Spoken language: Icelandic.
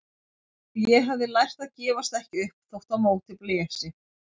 Og ég hafði lært að gefast ekki upp þótt á móti blési.